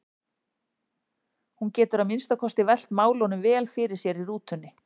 Hún getur að minnsta kosti velt málunum vel fyrir sér í rútunni.